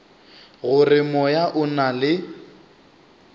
gore moya o na le